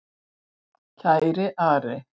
Kæri Ari.